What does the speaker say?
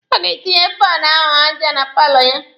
Ọ ga-etinye faanụ ahụ aja na paalọ ya.